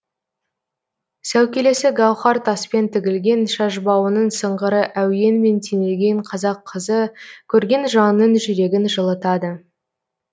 сәукелесі гауһар таспен тігілген шашбауының сыңғыры әуенмен теңелген қазақ қызы көрген жанның жүрегін жылытады